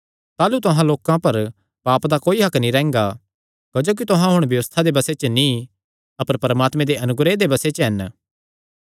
ताह़लू तुहां लोकां पर पाप दा कोई हक्क नीं रैंह्गा क्जोकि तुहां हुण व्यबस्था दे बसे च नीं अपर परमात्मे दे अनुग्रह दे बसे च हन